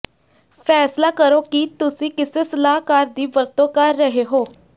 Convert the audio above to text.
ਫੈਸਲਾ ਕਰੋ ਕਿ ਤੁਸੀਂ ਕਿਸੇ ਸਲਾਹਕਾਰ ਦੀ ਵਰਤੋਂ ਕਰ ਰਹੇ ਹੋ